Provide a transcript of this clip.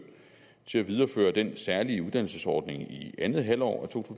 til at videreføre den særlige uddannelsesordning i andet halvår af to